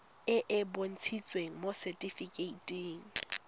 e e bontshitsweng mo setifikeiting